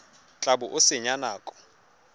tla bo o senya nako